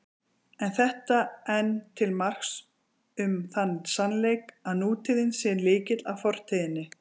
Er þetta enn til marks um þann sannleik, að nútíðin sé lykill að fortíðinni.